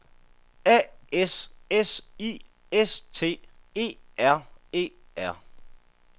A S S I S T E R E R